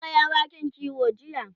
ka Kai awakin kiwo jiya?